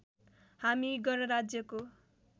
हामी गणराज्यको